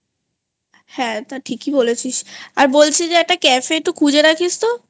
হ্যাঁ তা ঠিকই বলেছিস আর বলছি যে একটা Cafe এ একটু খুঁজে রাখিস তো?